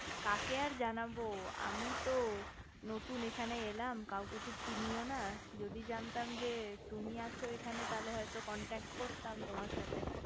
কাকে আর জানাবো আমি এইতো নতুন এইখানে এলাম কাউকে চিনিও না যদি জানতাম যে তুমি আছো এখানে তাহলে হয়তো contact করতাম তোমার সাথে